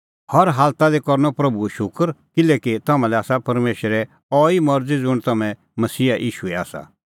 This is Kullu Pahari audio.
हर हालता लै करनअ प्रभूओ शूकर किल्हैकि तम्हां लै आसा परमेशरे अहैई मरज़ी ज़ुंण तम्हैं मसीहा ईशूए आसा